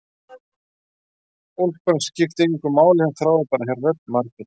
Úlpan skipti engu máli, hún þráði bara að heyra rödd Margrétar.